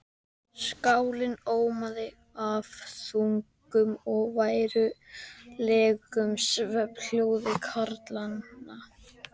Skálinn ómaði af þungum og værðarlegum svefnhljóðum karlanna.